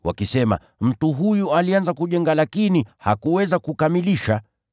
wakisema, ‘Mtu huyu alianza kujenga lakini hakuweza kukamilisha.’